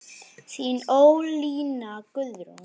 Þín Ólína Guðrún.